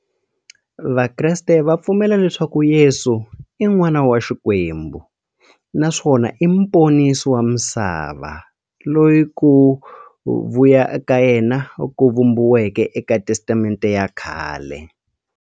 Vakreste va pfumela leswaku Yesu i n'wana wa Xikwembu naswona i muponisi wa misava, loyi ku vuya ka yena ku vhumbiweke eka Testamente ya khale.